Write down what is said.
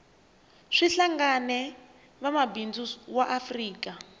kuhlangene vangwamabindzu vaafrika